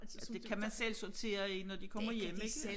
Ja det kan man selv sortere i når de kommer hjem ikke